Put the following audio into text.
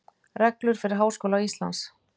Reglur fyrir Háskóla Íslands.